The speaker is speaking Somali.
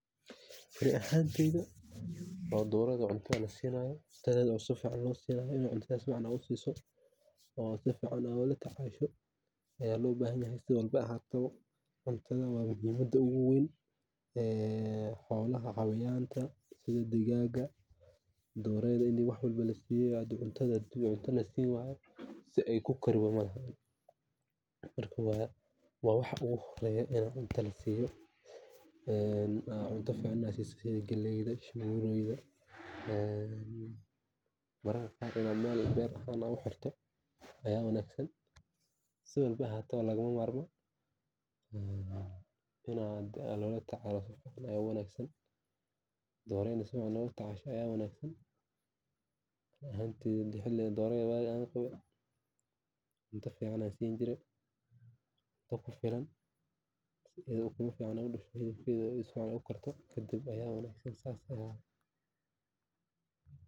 Dhoorada cuntada la siinayo oo si fiican loo siinayo, si fiican loola tacaalo. Muhiimadda ugu weyn xoolaha iyo dhigaagga waa cuntada. Haddii aan la siin, si ay u kori karaan malaha. Waxa ugu horreeya la siiyo waa cuntada, sida galleyda, shamuureyda, in meel beerta ugu xirto waa wanaagsan. Lagama maarmaan maaha in aanan la tacaalin si wanaagsan. Dhoorada waxay u baahan tahay cunto fiican si joogto ah loo siiyo, si ay u korto, ukumo fiicanna u dhasho.